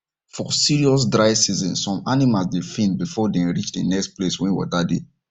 for serious dry season some animal dey faint before them reach the next place wen water dey